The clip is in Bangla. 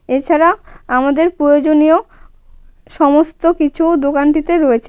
এছাড়া আমাদের প্রয়োজনীয় সমস্ত কিছু দোকানটিতে রয়েছে.